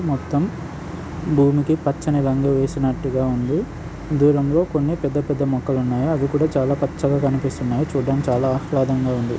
మొత్తం భూమికి పచ్చని రంగు వేసినట్టుగా ఉంది. దూరంలో కొన్ని పెద్ద పెద్ద మొక్కలున్నాయి. అవి కూడా చాలా పచ్చగా కనిపిస్తున్నాయి. చూడడానికి చాలా ఆహ్లాదంగా ఉంది.